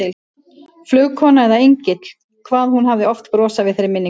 Flugkona eða engill, hvað hún hafði oft brosað við þeirri minningu.